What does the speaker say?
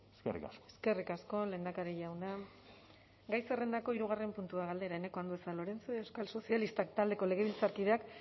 eskerrik asko eskerrik asko lehendakari jauna gai zerrendako hirugarren puntua galdera eneko andueza lorenzo euskal sozialistak taldeko legebiltzarkideak